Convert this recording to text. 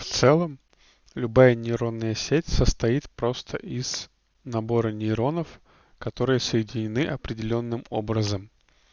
в целом любая нейронная сеть состоит просто из набора нейронов которые соединены определённым образом